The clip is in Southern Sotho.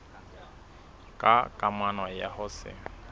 ka kamano ya ho se